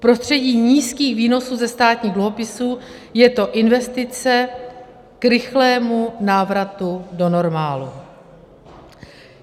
V prostředí nízkých výnosů ze státních dluhopisů je to investice k rychlému návratu do normálu.